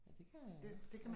Ja, det kan jeg